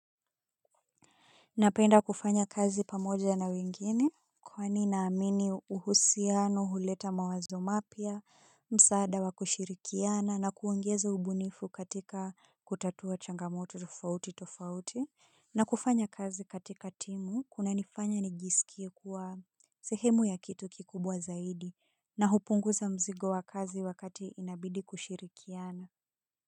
Napenda kufanya kazi pamoja na wengine kwani naamini uhusiano huleta mawazo mapya msaada wa kushirikiana na kuongeza ubunifu katika kutatua changamoto tofauti tofauti na kufanya kazi katika timu kuna nifanya nijisikie kuwa sehemu ya kitu kikubwa zaidi na hupunguza mzigo wa kazi wakati inabidi kushirikiana.